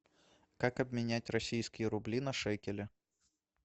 как обменять российские рубли на шекели